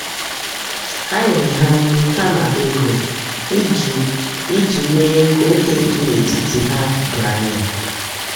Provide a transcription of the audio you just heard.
ha nyere ha nri um kama ego um iji mee ka ókè dị um n’etiti ha doo anya.